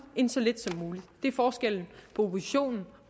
end så lidt som muligt det er forskellen på oppositionen